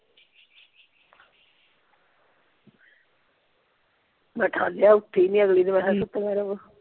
ਮੈਂ ਉਠਾਲਿਆ ਉੱਠੀ ਨਹੀਂ ਅਗਲੀ ਨੂੰ ਮੈਂ ਕਿਹਾ ਸੁੱਤੀਆਂ ਰਹਵੋ